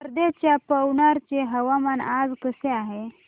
वर्ध्याच्या पवनार चे हवामान आज कसे आहे